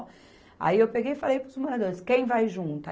Aí eu peguei e falei para os moradores, quem vai junto?